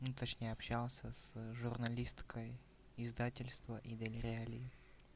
ну точнее общался с журналисткой издательство и доверяю ли